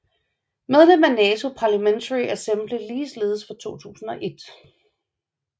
Medlem af NATO Parlamentary Assembly ligeledes fra 2001